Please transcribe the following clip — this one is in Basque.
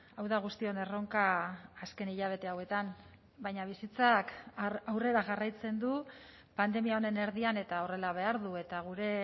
hau da guztion erronka azken hilabete hauetan baina bizitzak aurrera jarraitzen du pandemia honen erdian eta horrela behar du eta gure